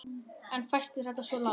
En fæstir feta svo langt.